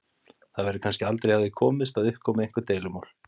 Það verður kannski aldrei hjá því komist að upp komi einhver deilumál.